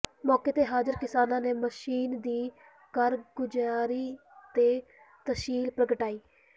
ਮੌਕੇ ਤੇ ਹਾਜਰ ਕਿਸਾਨਾਂ ਨੇ ਮਸ਼ੀਨ ਦੀ ਕਾਰਗੁਜਾਰੀ ਤੇ ਤਸੱਲੀ ਪ੍ਰਗਟਾਈ